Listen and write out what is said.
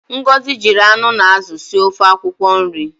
Ngozi jiri anụ na azụ sie ofe akwụkwọ nri.